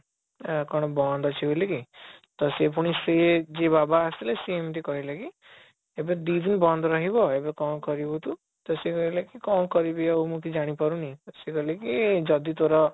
ଅଂ କଣ ବନ୍ଦ ଅଛି ବୋଲି କି ତ ସିଏ ପୁଣି ସେ ଯିଏ ବାବା ଆସିଥଲେ ସେ ଏମିତି କହିଲେ କି ଏବେ ଦି ଦିନ ବନ୍ଦ ରହିବ ଏବେ କଣ କରିବୁ ତୁ ତ ସେ କହିଲେ କି କଣ କରିବି ଆଉ ମୁଁ ଜାଣିପାରୁନି ସେ କହିଲେ କି ଯଦି ତୋର